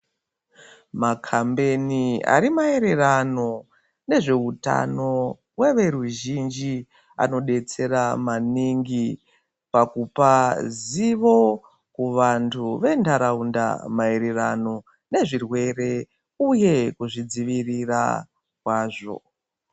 Makambeni ari maererano nezveutano weveruzhinji anodetsera maningi pakupa zivo kuvantu vendaraunda maerereano nezvirwere uye kuzvidzivirira kwazvo.